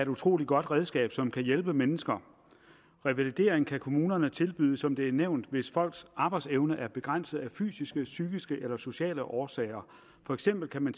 utrolig godt redskab som kan hjælpe mennesker revalidering kan kommunerne tilbyde som det er nævnt hvis folks arbejdsevne er begrænset af fysiske psykiske eller sociale årsager for eksempel kan man